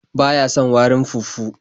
Ba ya son warin fufu.